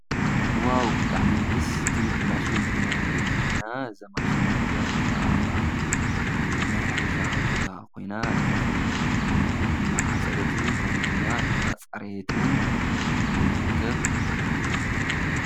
ዋው ብጣዕሚ ደስ ትብል ማሽን ኢና ንርኢ ዘለና። እዛ ማሽን እዚአ ድማ አብ ማእከል ናይ ሕርሻ ቦታ ኮይና እቲ እኽሊ እናዓፀደትን ከምኡ ድማ እናፅረየትን እንትርከብ ።